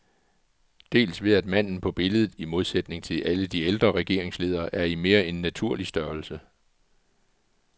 Dels ved at manden på billedet, i modsætning til alle de ældre regeringsledere, er i mere end naturlig størrelse.